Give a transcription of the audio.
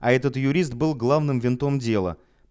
а этот юрист был главным винтом дела